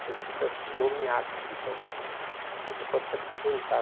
depois fica nomeado, fica, aí você pode se aposentar.